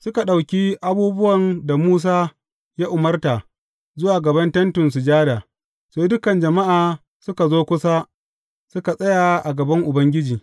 Suka ɗauki abubuwan da Musa ya umarta zuwa gaban Tentin Sujada, sai dukan jama’a suka zo kusa suka tsaya a gaban Ubangiji.